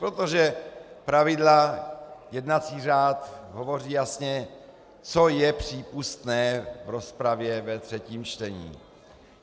Protože pravidla, jednací řád, hovoří jasně, co je přípustné v rozpravě ve třetím čtení.